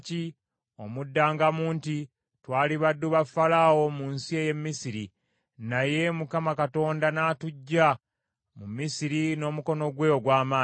Omuddangamu nti, ‘Twali baddu ba Falaawo mu nsi ey’e Misiri, naye Mukama Katonda n’atuggya mu Misiri n’omukono gwe ogw’amaanyi.